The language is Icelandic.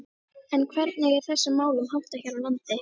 En hvernig er þessum málum háttað hér á landi?